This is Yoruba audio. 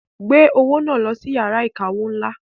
Gbé owó náà lọ sí iyàrá ìkawó ńlá.